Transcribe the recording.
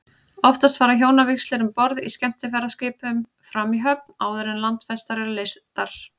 Oftast fara hjónavígslur um borð í skemmtiferðaskipum fram í höfn, áður en landfestar eru leystar.